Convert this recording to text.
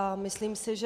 A myslím si, že...